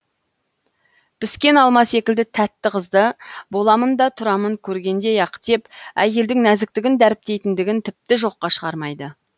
піскен алма секілді тәтті қызды боламын да тұрамын көргендей ақ деп әйелдің нәзіктігін дәріптейтіндігін тіпті жоққа шығармайды